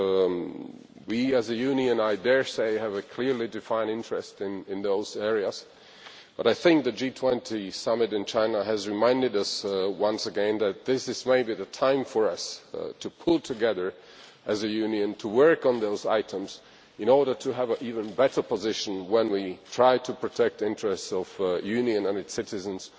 I dare say that we, as a union, have a clearly defined interest in those areas, but I think that the G20 Summit in China has reminded us once again that this is maybe the time for us to pull together, as a union, to work on those items in order to have an even better position when we try to protect the interests of the Union and its citizens